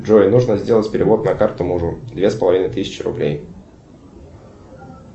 джой нужно сделать перевод на карту мужу две с половиной тысячи рублей